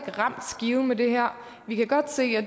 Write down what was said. har ramt skiven med det her vi kan godt se